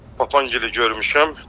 Papangili görmüşəm.